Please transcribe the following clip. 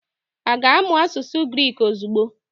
Ọ ga-amụ asụsụ Griki ozugbo?